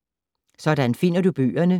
Sådan finder du bøgerne: